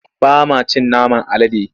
Ba ma cin naman alade.